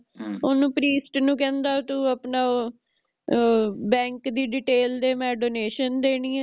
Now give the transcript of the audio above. ਓਹਨੂੰ ਪ੍ਰਿਸਟ ਨੂੰ ਕਹਿੰਦਾ ਤੂੰ ਆਪਣਾ ਆਹ ਅਹ Bank ਦੀ Detail ਦੇ ਮੈਂ Donation ਦੇਣੀ ਏ